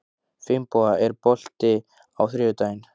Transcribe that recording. Finnboga, er bolti á þriðjudaginn?